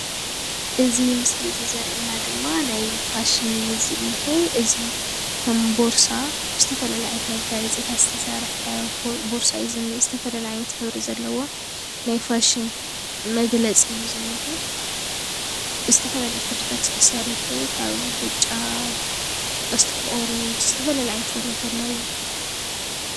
እዚ ምስሊ እዚ ዘርእየና ድማ ናይ ፋሽን እዩ ዝንሄ እዚ ከም ቦርሳ ዝተፈላለዩ ዓይነት መጋየጽታት ዝተሰርሐ ቦርሳ እዩ ዝንሄ ዝተፈላለዩ ዓይነት ሕብሪ ዘለዎ ናይ ፋሽን መግለጺ እዩ ዝንሄ ዝተፈላለዩ ክርታት እዩ ተሰሪሑ ካብ ብጫ፤ ኦሬንጅ ዝተፈላለዩ ዓይነት ሕብሪታት ኣለዉዎ።